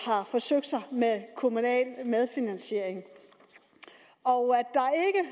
har forsøgt sig med kommunal medfinansiering og